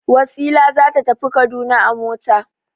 Wasila za ta tafi Kaduna a mota.